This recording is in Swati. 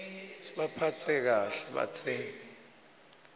sibaphatse kahle batsengi